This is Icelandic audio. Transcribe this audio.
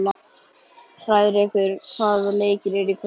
Hrærekur, hvaða leikir eru í kvöld?